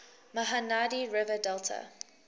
mahanadi river delta